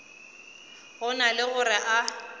go na le gore a